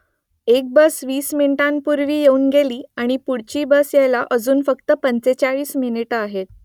एक बस वीस मिनिटांपूर्वी येऊन गेली आणि पुढची बस यायला अजून फक्त पंचेचाळीस मिनिटं आहेत